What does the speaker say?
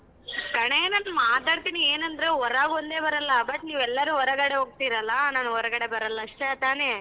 ಕಣೆ ನಾನ್ ಮಾತಾಡ್ತೀನಿ ಏನ್ ಅಂದ್ರೆ ಹೊರಗೊಂದೆ ಬರಲ್ಲ but ನೀವೆಲ್ಲರು ಹೊರಗಡೆ ಹೋಗ್ತಿರಲ್ಲ ನಾನ್ ಹೊರಗಡೆ ಬರಲ್ಲ ಅಷ್ಟೇ ತಾನೇ?